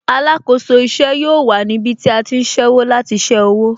Alákòóso ìṣe yóò wà níbí tí a ti ń ṣẹ́wó láti ṣé owó